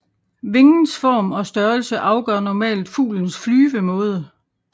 Vingens form og størrelse afgør normalt fuglens flyvemåde